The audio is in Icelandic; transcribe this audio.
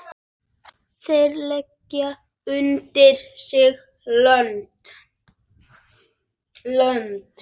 Þeir leggja undir sig löndin!